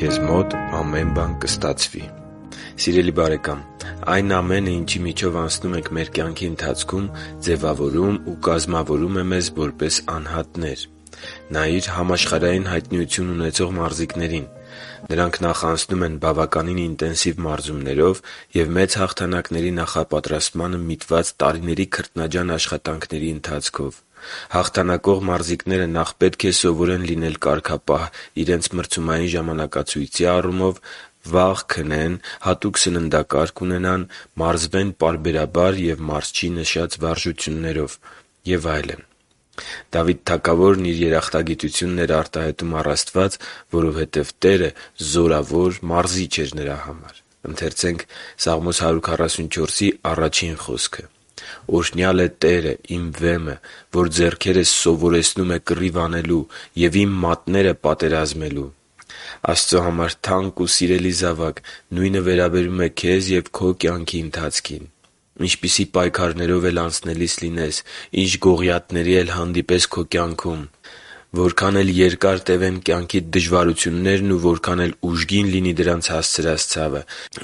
Քեզ մոտ ամեն բան կստացվի Սիրելի՛ բարեկամ, այն ամենը, ինչի միջով անցնում ենք մեր կյանքի ընթացքում, ձևավորում ու կազմավորում է մեզ որպես անհատներ։ Նայիր համաշխարհային հայտնիություն ունեցող մարզիկներին։ Նրանք նախ անցնում են բավականին ինտենսիվ մարզումներով և մեծ հաղթանակների նախապատրաստմանը միտված տարիների քրտնաջան աշխատանքների ընթացքով: Հաղթանակող մարզիկները նաև պետք է սովորեն լինել կարգապահ իրնց մարզումային ժամանակացույցի առումով՝ վաղ քնեն, հատուկ սննդակարգ ունենան, մարզվեն պարբերաբար և մարզչի նշած վարժություններով և այլն: Դավիթ թագավորն իր երախտագիտությունն էր արտահայտում առ Աստված, որովհետև Տերը զորավոր Մարզիչ էր նրա համար․ «Օրհնյա՜լ է Տերը, իմ Վեմը, որ ձեռքերս սովորեցնում է կռիվ անելու և իմ մատները՝ պատերազմելու» (Սաղմոս 144․1): Աստծո համար թանկ ու սիրելի՛ զավակ, նույնը վերաբերում է քեզ և քո կյանքի ընթացքին։ Ինչպիսի պայքարներով էլ անցնելիս լինես, Ինչ գողիաթների էլ հանդիպես քո կյանքում, Որքան էլ երկար տևեն կյանքիդ դժվարություններն ու որքան էլ ուժին լինի դրանց հասցրած ցավը...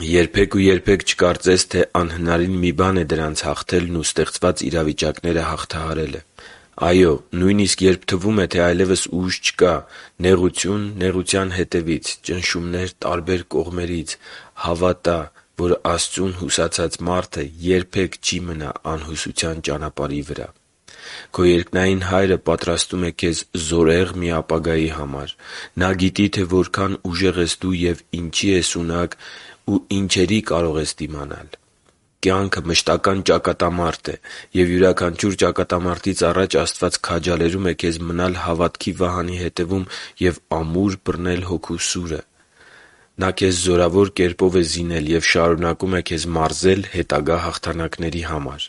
...երբե՛ք ու երբե՛ք չկարծես, թե անհնարին մի բան է դրանց հաղթելն ու ստեղծված իրավիճակները հաղթահարելը։ Այո՛, նույնիսկ երբ թվում է, թե այլևս ուժ չկա․․․ նեղություն նեղության հետևից․․․ ճնշումներ տարբեր կողմերից․․․ Հավատա՛, որ Աստծուն հուսացած մարդը երբե՛ք չի մնա անհուսության ճանապարհի վրա: Քո երկնային Հայրը պատրաստում է քեզ զորեղ մի ապագայի համար։ Նա գիտի, թե որքան ուժեղ ես դու, ինչի ես ունակ և ինչերի կարող ես դիմանալ: Կյանքը մշտական ճակատամարտ է։ Եվ յուրաքանչյուր ճակատամարտից առաջ Աստված քաջալերում է քեզ մնալ հավատքի վահանի հետևում և ամուր բռնել Հոգու սուրը: Նա քեզ զորավոր կերպով է զինել և շարունակում է քեզ մարզել հետագա հաղթանակների համար։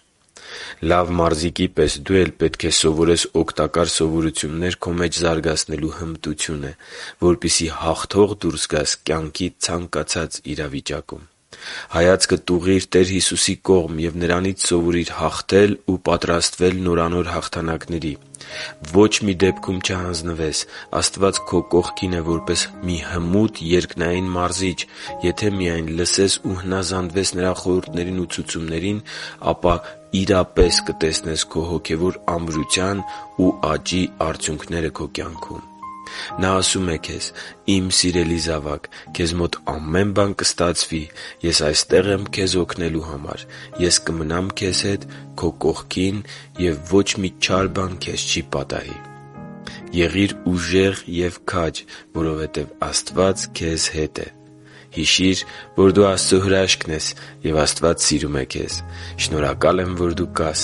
Լավ մարզիկի պես դու էլ պետք է սովորես օգտակար սովորություններ քո մեջ զարգացնելու հմտությունը, որպեսզի հաղթող դուրս գաս կյանքի ցանկացած իրավիճակում։ Հայացքդ ուղղի՛ր Տեր Հիսուսի կողմ և Նրանից սովորիր հաղթել ու պատրաստվել նորանոր հաղթանակների։ Ոչ մի դեպքում չհանձնվես։ Աստված քո կողքին է, որպես մի հմուտ երկնային Մարզիչ: Եթե միայն լսես ու հնազանդվես Նրա խորհուրդներին ու ցուցումներին, ապա իրապես կտեսնես քո հոգևոր ամրության ու աճի արդյունքները քո կյանքում։ Նա ասում է քեզ. «Իմ սիրելի զավակ, քեզ մոտ ամեն բան կստացվի: Ես այստեղ եմ քեզ օգնելու համար: Ես կմնամ քեզ հետ, քո կողքին, և ոչ մի չար բան քեզ չի պատահի»։ Եղիր ուժեղ և քաջ, որովհետև Աստված քեզ հետ է: Հիշի՛ր, որ դու Աստծո հրաշքն ես, և Աստված սիրում է քեզ։ Շնորհակալ եմ, որ դու կա՛ս